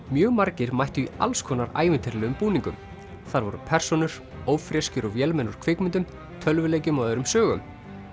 mjög margir mættu í alls konar ævintýralegum búningum þar voru persónur ófreskjur og vélmenni úr kvikmyndum tölvuleikjum og öðrum sögum